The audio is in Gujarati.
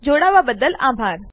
જોડાવા બદ્દલ આભાર